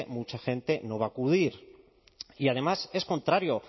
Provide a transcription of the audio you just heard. mucha gente no va a acudir y además es contrario